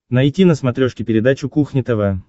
найти на смотрешке передачу кухня тв